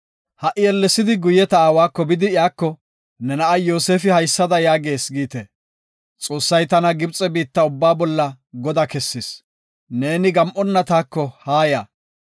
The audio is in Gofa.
“Ha77i ellesidi guye ta aawako bidi iyako, ne na7ay Yoosefi haysada yaagees giite; ‘Xoossay tana Gibxe biitta ubbaa bolla godaa kessis; neeni gam7onna taako haaya.